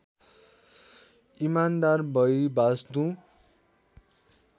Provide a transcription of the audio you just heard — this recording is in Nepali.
इमान्दार भई बाँच्नु